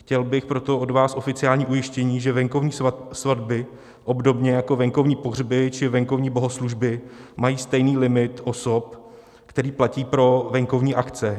Chtěl bych proto od vás oficiální ujištění, že venkovní svatby obdobně jako venkovní pohřby či venkovní bohoslužby mají stejný limit osob, který platí pro venkovní akce.